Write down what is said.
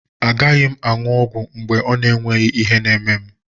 A gaghị m aṅụ ọgwụ mgbe o nweghị ihe na-eme m.